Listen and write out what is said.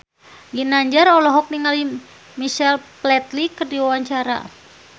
Ginanjar olohok ningali Michael Flatley keur diwawancara